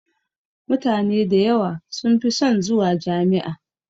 Mutane da yawa sun fi son zuwa Jami'a.